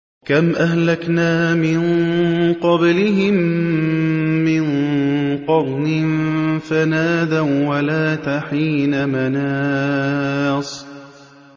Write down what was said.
كَمْ أَهْلَكْنَا مِن قَبْلِهِم مِّن قَرْنٍ فَنَادَوا وَّلَاتَ حِينَ مَنَاصٍ